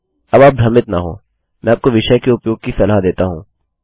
अब आप भ्रमित न होंमैं आपको विषय के उपयोग की सलाह देता हूँ